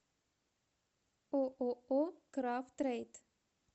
ооо крав трейд